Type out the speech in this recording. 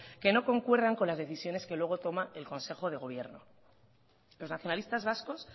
que no concuerdan con las decisiones que luego toma el consejo de gobierno los nacionalistas vascos